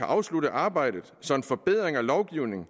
afslutte arbejdet så en forbedring af lovgivningen